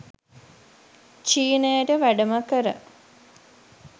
චීනයට වැඩම කර